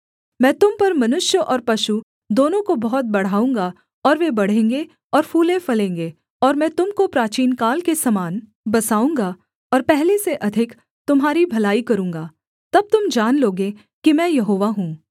मैं तुम पर मनुष्य और पशु दोनों को बहुत बढ़ाऊँगा और वे बढ़ेंगे और फूलेंफलेंगे और मैं तुम को प्राचीनकाल के समान बसाऊँगा और पहले से अधिक तुम्हारी भलाई करूँगा तब तुम जान लोगे कि मैं यहोवा हूँ